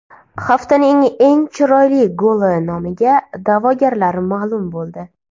Haftaning eng chiroyli goli nomiga da’vogarlar ma’lum bo‘ldi.